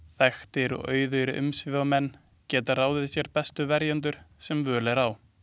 Þekktir og auðugir umsvifamenn geta ráðið sér bestu verjendur sem völ er á.